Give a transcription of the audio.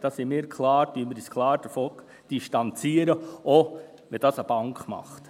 Davon distanzieren wir uns klar, auch wenn es eine Bank macht.